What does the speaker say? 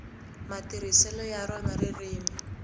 matirhiselo ya rona ririmi